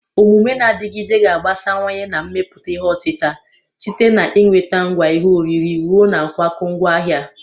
Omume na-adịgide ga-agbasawanye na mmepụta ihe otita, site na ị nweta ngwa ihe oriri ruo na nkwakọ ngwaahịa.